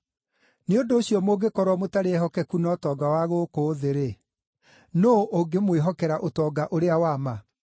Nĩ ũndũ ũcio mũngĩkorwo mũtarĩ ehokeku na ũtonga wa gũkũ thĩ-rĩ, nũũ ũngĩmwĩhokera ũtonga ũrĩa wa ma?